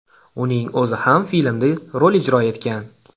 Uning o‘zi ham filmda rol ijro etgan.